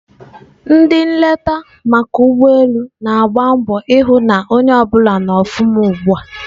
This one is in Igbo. Ndị nleta maka ụgbọ elu na-agba mbọ hụ na onye ọbụla nọ ọfụma ugbua.